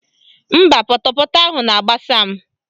Mba, pọtọpọtọ ahụ na-agbasa m